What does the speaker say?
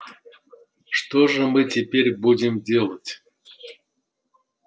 что же мы теперь будем делать